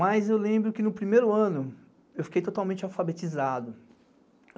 Mas eu lembro que no primeiro ano eu fiquei totalmente alfabetizado.